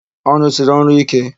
Ọ rụsiri ọrụ íké?